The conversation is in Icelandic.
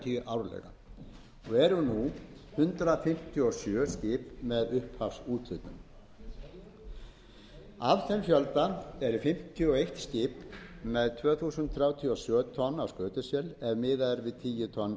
fjörutíu árlega og eru nú hundrað fimmtíu og sjö fiskiskip með upphafsúthlutun af þeim fjölda eru fimmtíu og eitt fiskiskip með tvö þúsund þrjátíu og sjö tonn af skötusel ef miðað er við tíu tonn eða meira